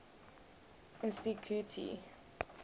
insticuti